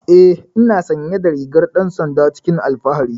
Eh ina sanye da rigar dan sanda cikin alfahari.